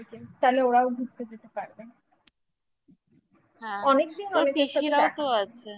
ওদেরকে তাহলে ওরাও ঘুরতে যেতে পারবে হ্যাঁ অনেকদিন ধরে আছে